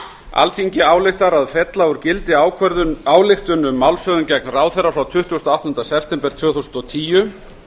alþingi ályktar að fella úr gildi ályktun um málshöfðun gegn ráðherra frá tuttugasta og áttunda september tvö þúsund og tíu